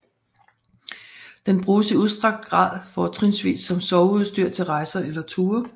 Den bruges i udstrakt grad fortrinsvis som soveudstyr til rejser eller ture